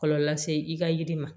Kɔlɔlɔ lase i ka yiri ma